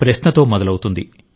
ప్రశ్నతో మొదలవుతుంది